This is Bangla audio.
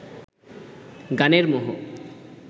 গানের মোহ